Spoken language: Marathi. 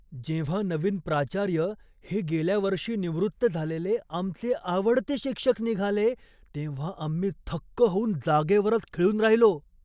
जेव्हा नवीन प्राचार्य हे गेल्या वर्षी निवृत्त झालेले आमचे आवडते शिक्षक निघाले तेव्हा आम्ही थक्क होऊन जागेवरच खिळून राहिलो!